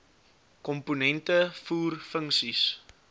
komponente voer funksies